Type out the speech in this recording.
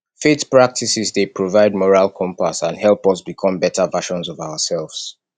faith practices dey provide moral compass and help us become better versions of ourselves